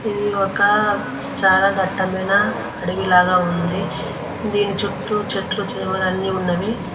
ఇది ఒక చాలా దట్టమైన అడవిలాగ ఉంది దీని చుట్టూ చెట్లు చేమలు అన్నీ ఉన్నవి.